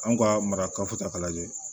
An ka marakaw ta k'a lajɛ